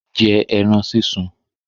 Jẹ́ ẹran súnsun!